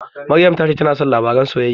Maryam ta ce tana son labaran soyayya.